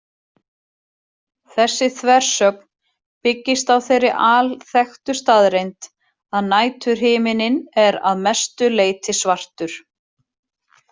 Þessi þversögn byggist á þeirri alþekktu staðreynd að næturhiminninn er að mestu leyti svartur.